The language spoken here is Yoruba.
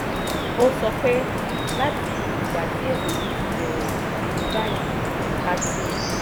ó sọ pé: "láti ìgbà tí ètò yìí ti bẹ̀rẹ̀ títí di báyìí a ti